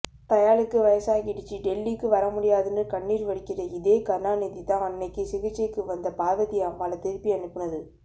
தயாளுக்கு வயசாகிடிச்சி டெல்லிக்கு வரமுடியாதுனு கண்ணீர்வடிக்கிற இதே கருணாநிதிதான் அன்னைக்கு சிகிச்சைக்குவந்த பார்வதிஅம்மாள திருப்பிஅனுப்பினது